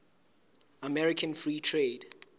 american free trade